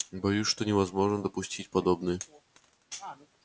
боюсь что невозможно допустить подобные